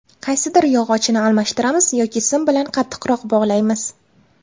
Qaysidir yog‘ochini almashtiramiz yoki sim bilan qattiqroq bog‘laymiz.